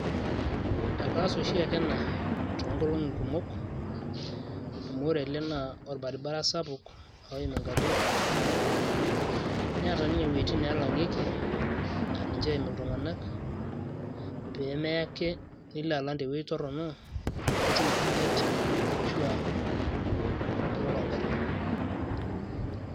Ekaas oshiake ena toonkolong'i kumok, amu ore ele naa orbaribara sapuk oim igarrin kumok. Neeta nye iwuejiting' nelang'ieki na ninche eim iltung'anak, pemeake nilo alang' tewueji torrono, nitum orbuket ashua kiroro garrin.